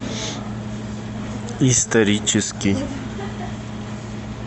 исторический